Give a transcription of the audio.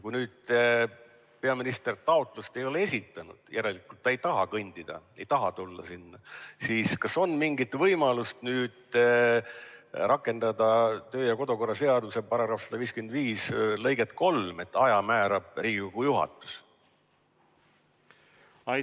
Kui nüüd peaminister taotlust ei ole esitanud – järelikult ta ei taha tulla –, siis kas on mingit võimalust rakendada kodu- ja töökorra seaduse § 155 lõiget 3, mis ütleb, et aja määrab Riigikogu juhatus?